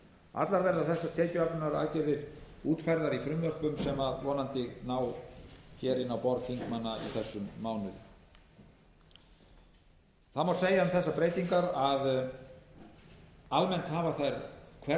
allar verða þessar tekjuöflunaraðgerðir útfærðar í frumvörpum sem vonandi ná hér inn á borð þingmanna í þessum mánuði það má segja um þessar breytingar að almennt hafa